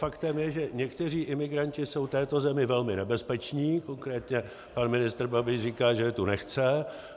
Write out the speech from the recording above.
Faktem je, že někteří imigranti jsou této zemi velmi nebezpeční, konkrétně pan ministr Babiš říká, že je tu nechce.